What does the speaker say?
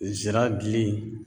Zira dili